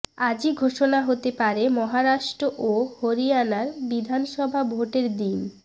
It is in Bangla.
আজই ঘোষণা হতে পারে মহারাষ্ট্র ও হরিয়ানার বিধানসভা ভোটের দিন